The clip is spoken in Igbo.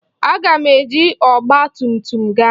Aga m eji ọgba tum tum gaa.